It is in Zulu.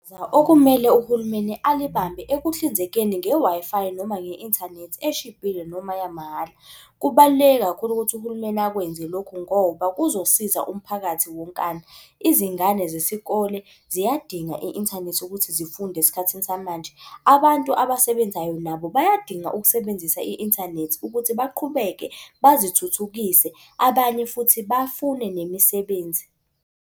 Okumele uhulumeni alibambe ekuhlinzekeni nge-Wi-Fi noma nge-inthanethi eshibhile noma yamahhala. Kubaluleke kakhulu ukuthi uhulumeni akwenze lokhu ngoba kuzosiza umphakathi wonkana. Izingane zesikole ziyadinga i-inthanethi ukuthi zifunde esikhathini samanje. Abantu abasebenzayo nabo bayadinga ukusebenzisa i-inthanethi ukuthi baqhubeke bazithuthukise, abanye futhi bafune nemisebenzi.